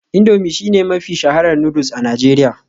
Indomie shine mafi shaharar noodles a Najeriya